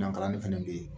Dankalanni fɛnɛ be yen